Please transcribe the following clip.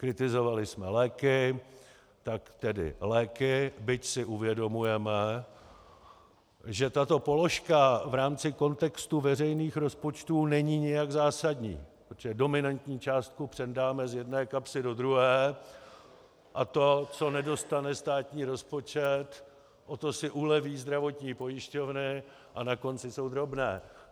Kritizovali jsme léky, tak tedy léky, byť si uvědomujeme, že tato položka v rámci kontextu veřejných rozpočtů není nijak zásadní, protože dominantní částku přendáme z jedné kapsy do druhé a to, co nedostane státní rozpočet, o to si uleví zdravotní pojišťovny a na konci jsou drobné.